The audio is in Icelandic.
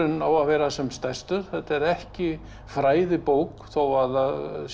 á að vera sem stærstur þetta er ekki fræðibók þó að það sé